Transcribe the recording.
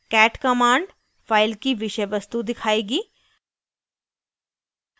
cat command file की विषय वस्तु दिखाएगी